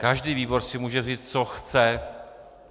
Každý výbor si může vzít, co chce.